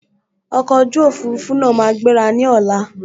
Ọkọ̀ ojú òfurufú náà máa gbéra ní ọ̀la